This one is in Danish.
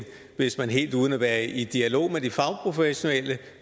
hvis man helt uden at være i dialog med de fagprofessionelle